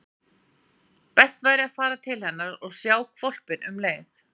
Best væri að fara til hennar og sjá hvolpinn um leið.